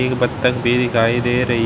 एक बतख भी दिखाई दे रही--